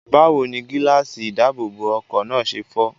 Báwo ni gíláàsì ìdáàbòbọ̀ ọkọ̀ náà ṣe fọ́?